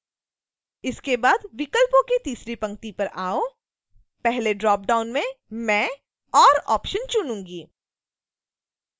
इसके बाद विकल्पों की तीसरी पंक्ति पर आओ पहले ड्रॉपडाउन में मैं or ऑप्शन चुनूँगी